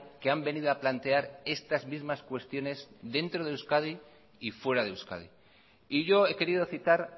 que han venido a plantear estas mismas cuestiones dentro de euskadi y fuera de euskadi y yo he querido citar